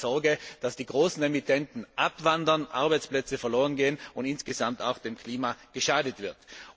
Sonst habe ich Sorge, dass die großen Emittenten abwandern, Arbeitsplätze verloren gehen und insgesamt auch dem Klima geschadet wird.